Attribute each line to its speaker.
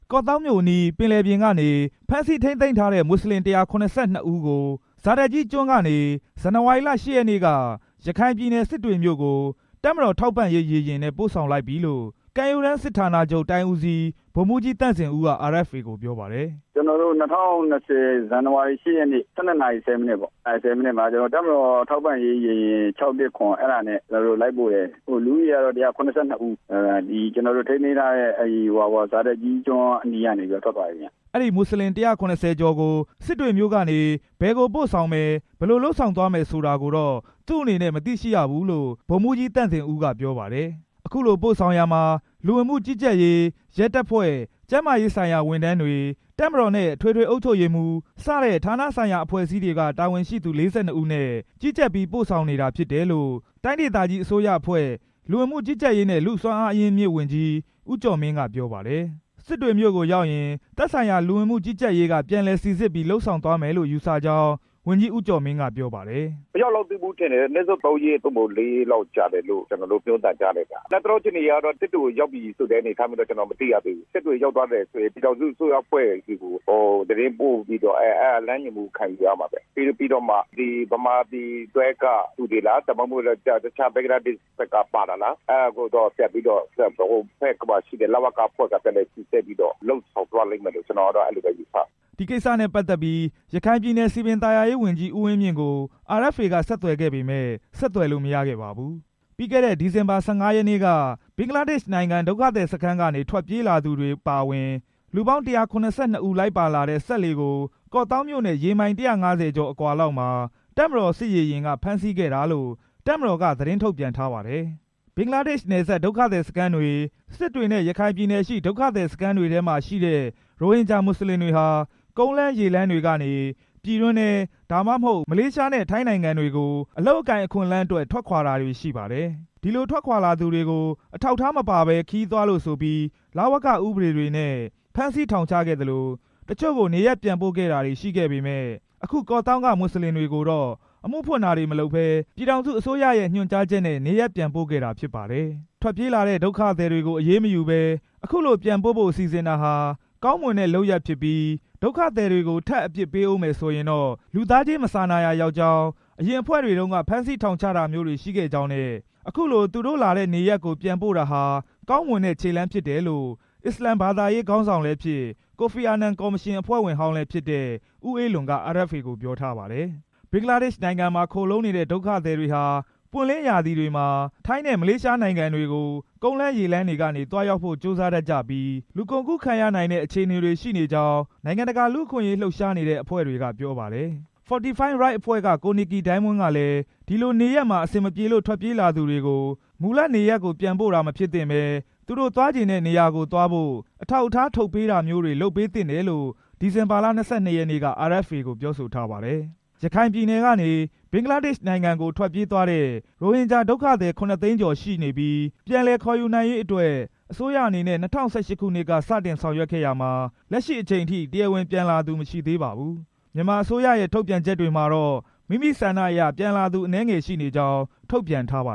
Speaker 1: ကော့သောင်းမြို့နယ်အနီး ပင်လယ်ပြင်ကနေ ဖမ်းဆီးထိန်းသိမ်းထားတဲ့ မွတ်စလင် ၁၇၂ ဦးကို ဇာဒတ်ကြီးကျွန်းကတော့ ဇန်နဝါရီလ ၈ ရက်နေ့က ရခိုင်ပြည်နယ် စစ်တွေမြို့ကို တပ်မတော် ထောက်ပံ့ရေးရေယာဉ်နဲ့ ပို့ဆောင်လိုက်ပြီလို့ ကမ်းရိုးတမ်းစစ်ဌာနချုပ် တိုင်းဦးစီး ဗိုလ်မှူးကြီး သန့်ဇင်ဦးက RFA ကို ပြောပါတယ်။
Speaker 2: “ကျွန်တော်တို့ ၂၀၂၀ ဇန်နဝါရီ ၈ ရက်နေ့ ၁၂ နာရီ ၁၀ မိနစ်ပေါ့။ တပ်မတော် ထောက်ပံ့ရေး ရေယာဉ် ၆၁၇ အဲဒါနဲ့ လိုက်ပို့တယ်။ လူဦးရေကတော့ ၁၇၂ ဦး၊ ကျွန်တော်တို့ ထိန်းသိမ်းထားတဲ့ ဇာဒတ်ကြီးကျွန်းအနီးကနေ ထွက်သွားပြီဗျ”
Speaker 1: အဲဒီ မွတ်စလင် ၁၇၀ ကျော်ကို စစ်တွေမြို့ကနေ ဘယ်ကို ပို့ဆောင်မယ်၊ ဘယ်လိုလုပ်ဆောင်သွားမယ် ဆိုတာကို သူ့အနေနဲ့ မသိရှိရဘူးလို့ ပြောတယ်။ အခုလို ပို့ဆောင်ရာမှာ လူဝင်မှုကြီးကြပ်ရေး၊ ရဲတပ်ဖွဲ့၊ ကျန်းမာရေးဆိုင်ရာ ဝန်ထမ်းတွေ၊ တပ်မတော်နဲ့ အထွေထွေအုပ်ချုပ်ရေးမှူး စတဲ့ဌာနဆိုင်ရာအဖွဲ့အစည်းတွေက တာဝန်ရှိသူ ၄၂ ဦးနဲ့ ကြီးကြပ်ပြီး ပို့ဆောင်နေတာဖြစ်တယ်လို့ တိုင်းဒေသကြီးအစိုးရအဖွဲ့ လူဝင်မှုကြီးကြပ်ရေးနဲ့ လူ့စွမ်းအားအရင်းအမြစ် ဝန်ကြီး ဦးကျော်မင်းက ပြောပါတယ်။ စစ်တွေမြို့ကိုရောက်ရင် သက်ဆိုင်ရာ လူဝင်မှုကြီးကြပ်ရေးက ပြန်လည်စိစစ်ပြီး လုပ်ဆောင်သွားမယ်လို့ ယူဆကြောင်း ဝန်ကြီး ဦးကျော်မင်းက ပြောပါတယ်။
Speaker 2: “မရောက်လောက်သေးဘူး ထင်တယ်။ အနည်းဆုံး သုံးရက် သို့မဟုတ် လေးရက်လောက်ကြာမယ်လို့ ပြောသံကြားတယ်ဗျ။ အလတ်တလော အခြေအနေအရတော့ စစ်တွေကို ရောက်ပြီဆိုတဲ့ အနေအထားမျိုးတော့ ကျွန်တော် မသိရသေးဘူးဗျ။ စစ်တွေရောက်သွားတယ်ဆိုရင် ပြည်ထောင်စုအစိုးရအဖွဲ့ကို သတင်းပို့ပြီးတော့ လမ်းညွှန်မှုခံယူရမှာပဲ။ ပြီးတော့မှ မြန်မာနိုင်ငံဘက်က သူတွေလား၊ ဒါမှမဟုတ် ဘင်္ဂလားဒေ့ရှ်ဘက်ပါသလား အဲဒါကိုတော့ ပြန်ပြီးတော့ စစ်တွေဘက်မှာရှိတဲ့ လဝကအဖွဲ့က ပြန်လည်စိစစ်ပြီးတော့ လုပ်သွားလိမ့်မယ်လို့ ကျွန်တော်ကတော့ အဲဒီလို ယူဆတယ်”
Speaker 1: ဒီကိစ္စနဲ့ ပတ်သက်ပြီး ရခိုင်ပြည်နယ် စည်ပင်သာယာရေးဝန်ကြီး ဦးဝင်းမြင့်ကို RFA က ဆက်သွယ်ခဲ့ပေမယ့် ဆက်သွယ်လို့ မရခဲ့ပါဘူး။ ပြီးခဲ့တဲ့ ဒီဇင်ဘာ ၁၅ ရက်နေ့က ဘင်္ဂလားဒေ့ရှ်နိုင်ငံ ဒုက္ခသည်စခန်းကနေ ထွက်ပြေးလာသူတွေ အပါအဝင် လူပေါင်း ၁၇၂ ဦးလိုက်ပါလာတဲ့ စက်လှေကို ကော့သောင်းမြို့နဲ့ ရေမိုင် ၁၅၀ ကျော်လောက်အကွာမှာ တပ်မတော် စစ်ရေယာဉ်က ဖမ်းဆီးခဲ့တာလို့ တပ်မတော်က သတင်းထုတ်ပြန်ထားပါတယ်။ ဘင်္ဂလားဒေ့ရှ်နယ်စပ် ဒုက္ခသည်စခန်းတွေ၊ စစ်တွေနဲ့ ရခိုင်ပြည်နယ်ရှိ ဒုက္ခသည်စခန်းတွေမှာရှိတဲ့ ရိုဟင်ဂျာ မွတ်စလင်တွေဟာ ကုန်းလမ်း၊ ရေလမ်းတွေကနေ ပြည်တွင်းထဲ၊ ဒါမှမဟုတ် မလေးရှားနဲ့ ထိုင်းနိုင်ငံတွေကို အလုပ်အကိုင်အခွင့်အလမ်းအတွက် ထွက်ခွာတာတွေရှိပါတယ်။ ဒီလိုထွက်ခွာလာသူတွေကို အထောက်အထားမပါဘဲ ခရီးသွားလို့ဆိုပြီး လဝက ဥပဒေတွေနဲ့ ဖမ်းဆီးထောင်ချခဲ့သလို တချို့ကို နေရပ်ပြန်ပို့ခဲ့တာတွေရှိခဲ့ပေမယ့် အခု ကော့သောင်းက မွတ်စလင်တွေကိုတော့ အမှုဖွင့်တာတွေ မလုပ်ဘဲ ပြည်ထောင်စုအစိုးရ ညွှန်ကြားချက်နဲ့ နေရပ်ပြန်ပို့နေတာဖြစ်ပါတယ်။ ထွက်ပြေးလာတဲ့ ဒုက္ခသည်တွေကို အရေးမယူဘဲ အခုလိုပြန်ပို့ဖို့ စီစဉ်တာဟာ ကောင်းမွန်တဲ့ လုပ်ရပ်ဖြစ်ပြီး ဒုက္ခသည်တွေကို ထပ်အပြစ်ပေးဦးမယ်ဆိုရင်တော့ လူသားချင်း မစာနာရာရောက်ကြောင်း အရင်အဖွဲ့တွေတုန်းက ဖမ်းဆီးထောင်တွေချတာမျိုးတွေ ရှိခဲ့ကြောင်းနဲ့ အခုလို သူတို့လာတဲ့နေရာကို ပြန်ပို့တာဟာ ကောင်းမွန်တဲ့ ခြေလှမ်းဖြစ်တယ်လို့ အစ္စလာမ်ဘာသာရေး ခေါင်းဆောင်လည်းဖြစ် ကိုဖီအာနန်ကော်မရှင် အဖွဲ့ဝင်ဟောင်းလည်းဖြစ်တဲ့ ဦးအေးလွင်က RFA ကို ပြောထားပါတယ်။ ဘင်္ဂလားဒေ့ရှ်နိုင်ငံမှာ ခိုလှုံနေတဲ့ ဒုက္ခသည်တွေဟာ ပွင့်လင်းရာသီတွေမှာ ထိုင်းနဲ့ မလေးရှားနိုင်ငံတွေကို ကုန်းလမ်း၊ ရေလမ်းတွေကနေ သွားရောက်ဖို့ ကြိုးစားတတ်ကြပြီး လူကုန်ကူးခံရနိုင်တဲ့ အခြေအနေတွေ ရှိနေကြောင်း နိုင်ငံတကာ လူ့အခွင့်အရေးလှုပ်ရှားနေတဲ့ အဖွဲ့တွေက ပြောပါတယ်။ လူ့အခွင့်ရေးလှုပ်ရှားသူ Fortify Rights အဖွဲ့က ကိုနစ်ကီဒိုင်းမွန်းကလည်း ဒီလိုနေရပ်မှာ အဆင်မပြေလို့ ထွက်ပြေးလာသူတွေကို မူလနေရပ်ပြန်ပို့တာ မဖြစ်သင့်ဘဲ သူတို့သွားချင်တဲ့ နေရာသွားဖို့ အထောက်အထား ထုတ်ပေးတာမျိုးတွေ လုပ်ပေးသင့်တယ်လို့ ဒီဇင်ဘာလ ၂၂ ရက်နေ့က RFA ကို ပြောဆိုထားပါတယ်။ ရခိုင်ပြည်နယ်ကနေ ဘင်္ဂလားဒေ့ရှ်နိုင်ငံကို ထွက်ပြေးသွားတဲ့ ရိုဟင်ဂျာဒုက္ခသည် ခုနှစ်သိန်းကျော်ရှိနေပြီး ပြန်လည်ခေါ်ယူနိုင်ရေးအတွက် အစိုးရအနေနဲ့ ၂၀၁၈ ခုနှစ်က စတင်ဆောင်ရွက်ခဲ့ရာမှာ လက်ရှိအချိန်အထိ တရားဝင်ပြန်လာသူ မရှိသေးပါဘူး။ မြန်မာအစိုးရရဲ့ ထုတ်ပြန်ချက်တွေမှာတော့ မိမိသဘောဆန္ဒအရ ပြန်လာသူ အနည်းငယ်ရှိနေကြောင်း ထုတ်ပြန်ထားပါ